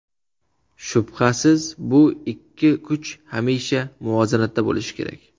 Shubhasiz, bu ikki kuch hamisha muvozanatda bo‘lishi kerak.